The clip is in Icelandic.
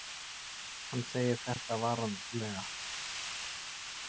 Hann segir þetta varlega.